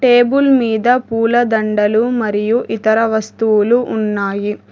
Table మీద పూలదండలు మరియు ఇతర వస్తువులు ఉన్నాయి.